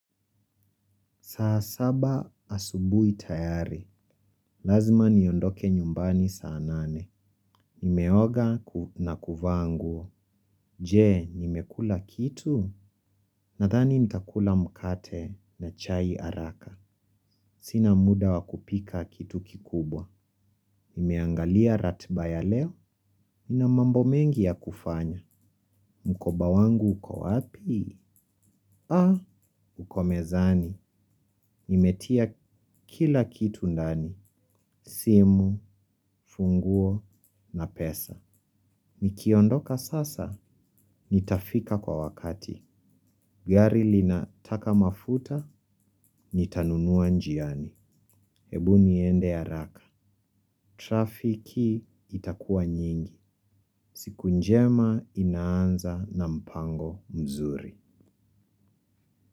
Saa saba asubuhi tayari. Lazima niondoke nyumbani saa nane. Nimeoga na kuvaa nguo. Je, nimekula kitu? Nathani nitakula mkate na chai haraka. Sina muda wakupika kitu kikubwa. Nimeangalia ratiba ya leo. Ina mambo mengi ya kufanya. Mkoba wangu uko wapi? Haa, ukomezani. Nimetia kila kitu ndani. Simu, funguo na pesa nikiondoka sasa, nitafika kwa wakati. Gari linataka mafuta, nitanunua njiani. Hebu niende ya haraka. Trafiki itakuwa nyingi. Siku njema inaanza na mpango mzuri.